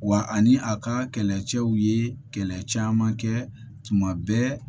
Wa ani a ka kɛlɛcɛw ye kɛlɛ caman kɛ tuma bɛ